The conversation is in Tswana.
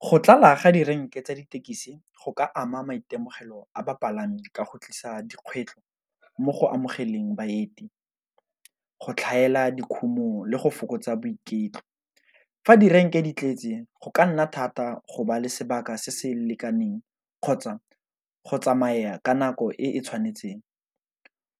Go tlala ga direnkeng tsa ditekisi go ka ama maitemogelo a bapalami ka go tlisa dikgwetlo mo go amogelang baeti, go tlhaela dikhumo le go fokotsa boiketlo. Fa direnke di tletse go ka nna thata go le sebaka se se lekaneng kgotsa go tsamaya ka nako e e tshwanetseng.